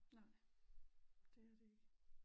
Nej det er det ikke